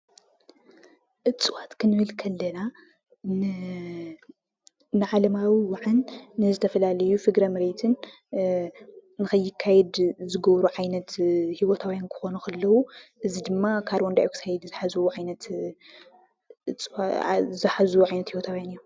እፅዋት ክንብል ከለና ንዓለማዊ ዋዕን ንዝተፈላለዩ ፍግረ መሬትን ንከይካየድ ዝገብሩ ዓይነት ሂወታውያን ክኮኑ ከለው እዚ ድማ ካርቦንዳይ ኦክሳይድ ዝሓዝዎ ዓይነት ሂወታውያን እዮም፡፡